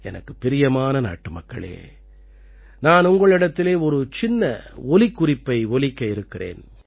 எனக்குப் பிரியமான நாட்டுமக்களே நான் உங்களிடத்திலே ஒரு சின்ன ஒலிக்குறிப்பை ஒலிக்க இருக்கிறேன்